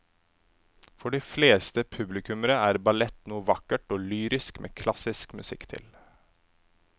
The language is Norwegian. For de fleste publikummere er ballett noe vakkert og lyrisk med klassisk musikk til.